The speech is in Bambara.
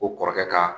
Ko kɔrɔkɛ ka